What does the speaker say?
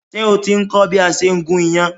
Ṣé o ti ń kọ́ bí a ṣe ń gún iyán?